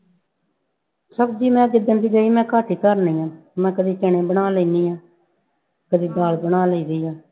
ਸਬਜ਼ੀ ਮੈਂ ਜਿੱਦਣ ਦੀ ਗਈ ਮੈਂ ਘੱਟ ਹੀ ਧਰਦੀ ਹਾਂ, ਮੈਂ ਕਦੇ ਚਣੇ ਬਣਾ ਲੈਂਦੀ ਹਾਂ ਕਦੇ ਦਾਲ ਬਣਾ ਲੈਂਦੀ ਹਾਂ